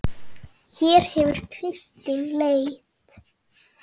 Hér hefur Kristín leit.